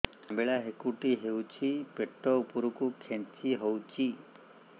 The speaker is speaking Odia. ଅମ୍ବିଳା ହେକୁଟୀ ହେଉଛି ପେଟ ଉପରକୁ ଖେଞ୍ଚି ହଉଚି